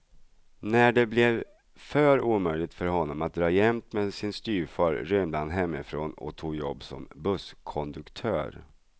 När det blev för omöjligt för honom att dra jämt med sin styvfar rymde han hemifrån och tog jobb som busskonduktör.